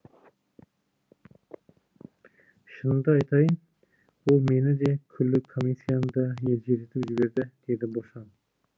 шынымды айтайын ол мені де күллі комиссияны да елжіретіп жіберді деді бошан